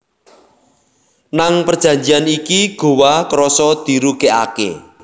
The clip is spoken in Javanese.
Nang perjanjian iki Gowa krasa dirugiake